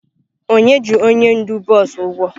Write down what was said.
Onye ji onye ndu bọs ụgwọ?